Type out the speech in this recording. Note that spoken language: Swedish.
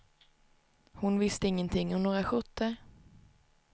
Hon visste ingenting om några skjortor.